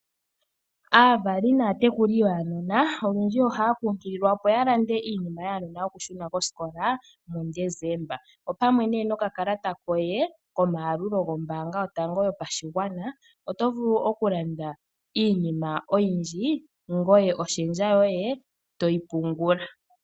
Aavali naatekuli yaanona olundji ohaya kunkililwa opo ya lande iinima yaanona yoku shuna kosikola muDesemba opamwe nee nokakalata koye komayalulu gwombaanga yotango yopashigwana oto vulu oku landa iinima oyindji ngoye oshendja yoye toyi pungula